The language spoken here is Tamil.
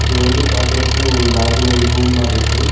இது வந்து பாக்கறதுக்கு ஒரு லாட்ஜ்ல ஒரு ரூம் மாரி இருக்கு‌.